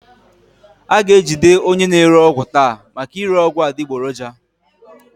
A ga-ejide onye na-ere ọgwụ taa maka ire ọgwụ adịgboroja